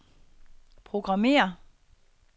programmér